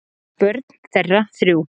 Börn þeirra þrjú.